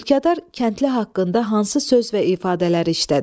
Mülkədar kəndli haqqında hansı söz və ifadələri işlədir?